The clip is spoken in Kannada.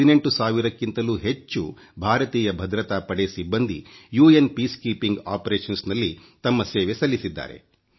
18 ಸಾವಿರಕ್ಕಿಂತಲೂ ಹೆಚ್ಚು ಭಾರತೀಯ ಭದ್ರತಾ ಪಡೆ ಸಿಬ್ಬಂದಿ ವಿಶ್ವಸಂಸ್ಥೆಯ ಶಾಂತಿ ಪ್ರಕ್ರಿಯೆಯಲ್ಲಿ ತಮ್ಮ ಸೇವೆ ಸಲ್ಲಿಸಿದ್ದಾರೆ